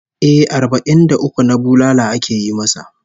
Eh, arbai'n da uku na bulala ake yi masa